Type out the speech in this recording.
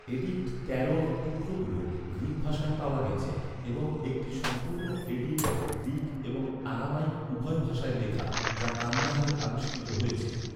Addict তেরোর টুকরোগুলি Greek ভাষায় পাওয়া গেছে এবং একটি সম্পূর্ণ এডিক্ট, গ্রীক এবং আরামাইক উভয় ভাষায় লেখা, যা কান্দাহারে আবিষ্কৃত হয়েছে।